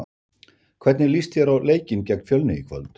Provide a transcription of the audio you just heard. Hvernig líst þér á leikinn gegn Fjölni í kvöld?